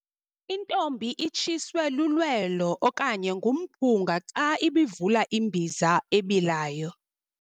Intombi itshiswe lulwelo okanye ngumphunga xa ibivula imbiza ebilayo.